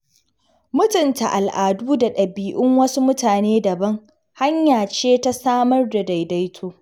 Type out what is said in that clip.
Mutunta al'adu da ɗabi'un wasu mutane daban, hanya ce ta samar da daidaito.